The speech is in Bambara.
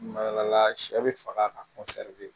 Mala sɛ bɛ faga ka